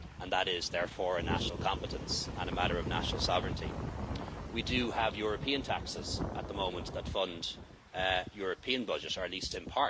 That's, therefore, a national competence and a matter of national sovereignty. We do have European taxes at the moment that fund the European budget, or at least in.